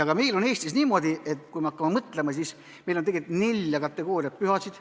Ka meil on Eestis niimoodi, et kui me hakkame mõtlema, siis näeme, et meil on neli kategooriat pühasid.